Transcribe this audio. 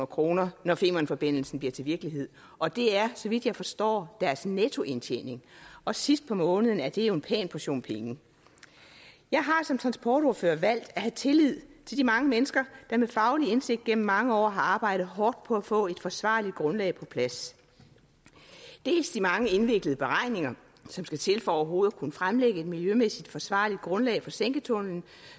kr når femernforbindelsen bliver til virkelighed og det er så vidt jeg forstår deres nettoindtjening og sidst på måneden er det jo en pæn portion penge jeg har som transportordfører valgt at have tillid til de mange mennesker der med faglig indsigt gennem mange år har arbejdet hårdt på at få et forsvarligt grundlag på plads dels de mange indviklede beregninger som skal til for overhovedet at kunne fremlægge et miljømæssigt forsvarligt grundlag på sænketunnelen